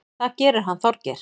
Það gerir hann Þorgeir.